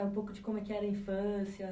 Um pouco de como é que era a infância?